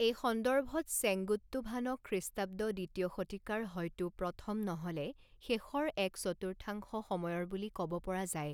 এই সন্দৰ্ভত চেঙ্গুট্টুভানক খ্ৰীষ্টাব্দ দ্বিতীয় শতিকাৰ হয়তো প্ৰথম নহ'লে শেষৰ এক চতুৰ্থাংশ সময়ৰ বুলি কব পৰা যায়।